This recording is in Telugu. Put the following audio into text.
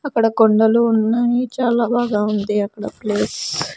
అక్కడ కొండలు ఉన్నాయి చాలా బాగా ఉంది అక్కడ ప్లేస్ .